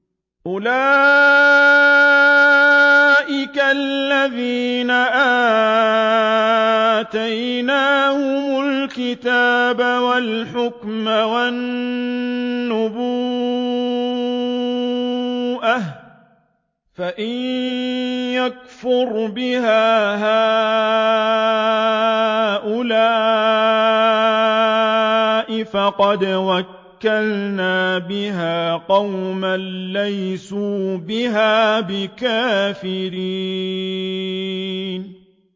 أُولَٰئِكَ الَّذِينَ آتَيْنَاهُمُ الْكِتَابَ وَالْحُكْمَ وَالنُّبُوَّةَ ۚ فَإِن يَكْفُرْ بِهَا هَٰؤُلَاءِ فَقَدْ وَكَّلْنَا بِهَا قَوْمًا لَّيْسُوا بِهَا بِكَافِرِينَ